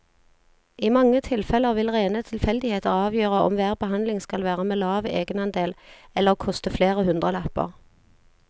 I mange tilfeller vil rene tilfeldigheter avgjøre om hver behandling skal være med lav egenandel eller koste flere hundrelapper.